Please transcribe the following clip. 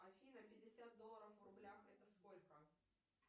афина пятьдесят долларов в рублях это сколько